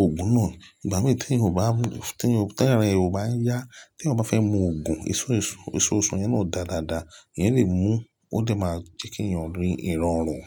Ògún náà. Ìgbà mí tí èèyàn bá mú, tí èèyàn, tí ara ẹ bá yá, tí èèyàn bá fẹ́ mu Ògún, èso, èso, èso ọsàn yẹn náà dà dáadáa. Èyẹn lè mú, ó lè máa jẹ́ kí ẹ̀yàn rí ìrọ̀rùn.